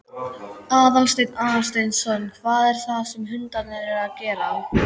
Aðalsteinn Aðalsteinsson: Hvað er það sem hundarnir eru að gera?